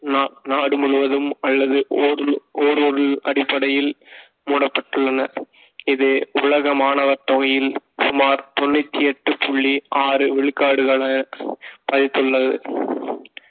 நா~ நாடு முழுவதும் அல்லதுஒரு ஒரு ஒரு அடிப்படையில் மூடப்பட்டுள்ளன இது உலக மாணவர் தொகையில் சுமார் தொண்ணூத்தி எட்டு புள்ளி ஆறு விழுக்காடுகள பாதித்துள்ளது